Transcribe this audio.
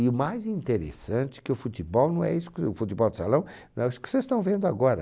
E o mais interessante é que o futebol não é isso, o futebol de salão, não é isso que vocês estão vendo agora.